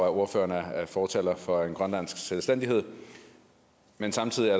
at ordføreren er fortaler for en grønlandsk selvstændighed men samtidig er